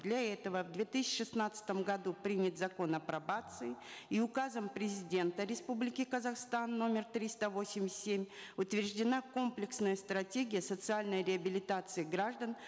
для этого в две тысячи шестнадцатом году принят закон о пробации и указом президента республики казахстан номер триста восемьдесят семь утверждена комплексная стратегия социальной реабилитации граждан